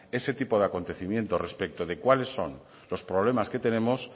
ese tipo de acontecimientos respecto de cuáles son los problemas que tenemos